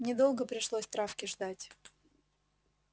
недолго пришлось травке ждать